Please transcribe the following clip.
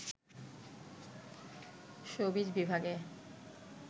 showbiz বিভাগে